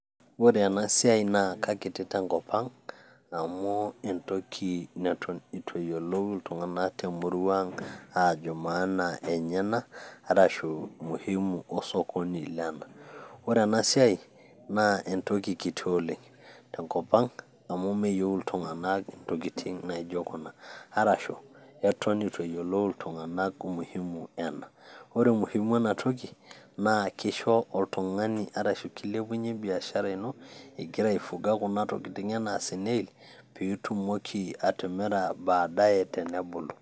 ore ena siai na kekiti tenkop ang amu entoki neton eitu eyiolou iltunganak temurua ang' aajo maana enye ena. arashu, muhimu osokoni lena. ore ena siai naa entoki kiti oleng te nkop ang amu meyieu iltunganak intokitin naijo kuna, arashu eton eitu eyiolou iltunganak, umuhimu ena. ore umuhimu ena toki naa kisho, oltungani arashu kilepunye biashara ino igira aifuga kuna tokitin enaa snail pee itumoki atimira abaadae tenebulu.